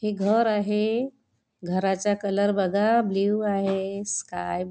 हे घर आहे घराचा कलर बघा ब्लू आहे स्काय --